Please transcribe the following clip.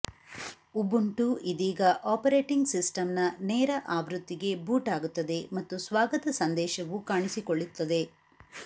Ubuntu ಇದೀಗ operating ಸಿಸ್ಟಂನ ನೇರ ಆವೃತ್ತಿಗೆ ಬೂಟ್ ಆಗುತ್ತದೆ ಮತ್ತು ಸ್ವಾಗತ ಸಂದೇಶವು ಕಾಣಿಸಿಕೊಳ್ಳುತ್ತದೆ